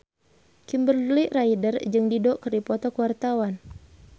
Kimberly Ryder jeung Dido keur dipoto ku wartawan